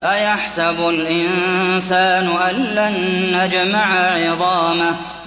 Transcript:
أَيَحْسَبُ الْإِنسَانُ أَلَّن نَّجْمَعَ عِظَامَهُ